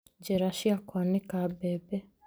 Njĩra cia kwanĩka mbembe